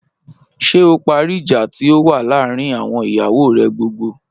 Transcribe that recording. Ṣé o parí ìjà tí ó wà láàárín àwọn ìyàwó rè gbogbo?